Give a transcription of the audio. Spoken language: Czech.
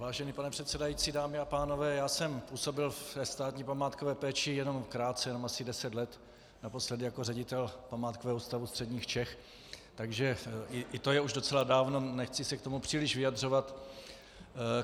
Vážený pane předsedající, dámy a pánové, já jsem působil ve státní památkové péči jenom krátce, jenom asi deset let, naposledy jako ředitel Památkového ústavu středních Čech, takže i to je už docela dávno, nechci se k tomu příliš vyjadřovat.